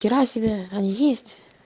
хера себе они есть